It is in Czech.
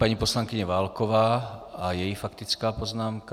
Paní poslankyně Válková a její faktická poznámka.